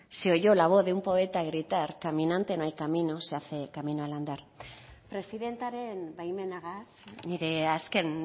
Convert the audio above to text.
se oyó la voz de un poeta gritar caminante no hay camino se hace camino al andar presidentearen baimenagaz nire azken